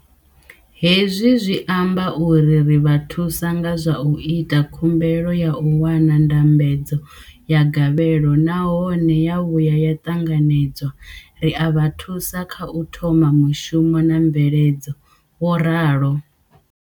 Hezwi zwi amba uri ri vha thusa nga zwa u ita khumbelo ya u wana ndambedzo ya gavhelo nahone ya vhuya ya ṱanganedzwa, ri a vha thusa kha u thoma mushumo na mveledzo, vho ralo.